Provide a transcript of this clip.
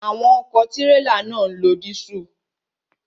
Àwọn ọ̀kọ̀ tírélà náà ń lo dísùlù.